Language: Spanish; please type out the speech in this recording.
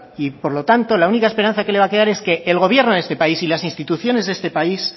y por lo tanto la única esperanza que le va a quedar es que el gobierno de este país y las instituciones de este país